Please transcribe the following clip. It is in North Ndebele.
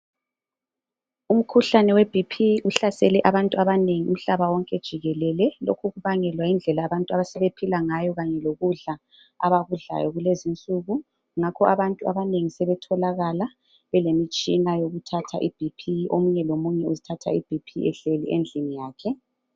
Umkhuhlane weBP uhlasele abanengi umhlaba wonke jikelele. Lokhu kubangelwa yindlela abantu asebephila ngayo kanye lokudla abakudlayo kulezinsuku. Ngakho abantu abanengi sebetholakala belemitshina yothatha iBP. Omunye lomunye uzithatha iBP ehlezi endlini yakhe.